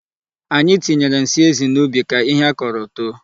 Anyị tinyere nsị ezi n'ubi ka ihe a kaọrọ too.